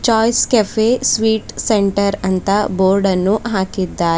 Toys cafe sweet centre ಅಂತ board ಅನ್ನು ಹಾಕಿದ್ದಾರೆ.